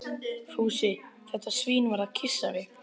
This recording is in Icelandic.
Fúsi, þetta svín, var að kyssa mig.